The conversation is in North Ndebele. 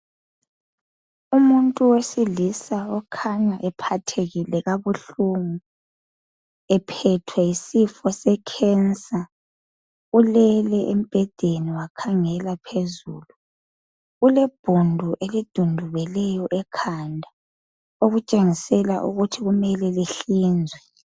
Umuntu wesilisa okhanya ephathekile kabuhlungu ephethwe yisifo se cancer ulele embhedeni wakhangela phezulu ulebhundu elidundubeleyo ekhanda okutshengisela ukuthi kumele lihlinzwe.